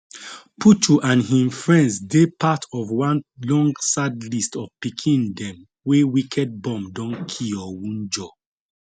puchu and hin friends dey part of one long sad list of pikin dem wey wicked bomb don kill or wunjure